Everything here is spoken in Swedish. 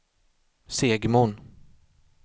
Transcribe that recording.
Segmon